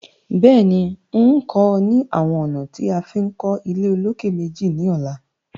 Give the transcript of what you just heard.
Bẹ́ẹ̀ni, ń kọ́ ọ ní àwọn ọ̀nà tí a fi ń kọ́ ilé-olókè-méjì ní ọ̀la